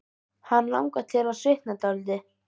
Hann langar til að svitna dálítið.